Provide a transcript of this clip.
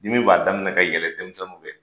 Min b'a daminɛ ka yɛlɛ denmisɛnninw fɛ